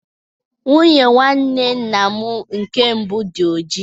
Nwunye nwanne nna m nke mbụ dị ojii.